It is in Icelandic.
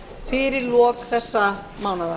fyrir lok þessa mánaðar